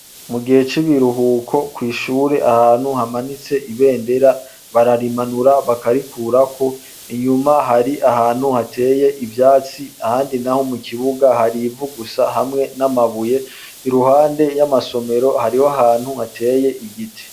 Mugihe cibiruhuko kwishure ahantu hamanitse ibendera bararimanura bakarikurako inyuma hari ahantu hateye ivyatsi ahandi naho mukibuga harivu gusa hamwe namabuye iruhande yamasomero hariho ahantu hateye igiti